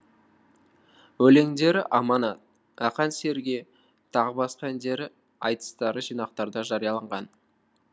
өлеңдері аманат ақан серіге тағы басқа әндері айтыстары жинақтарда жарияланған